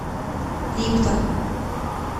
липтон